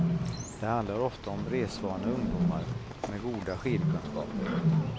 Det handlar ofta om resvana ungdomar, med goda skidkunskaper.